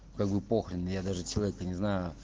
как бы похрен я даже человека не знаю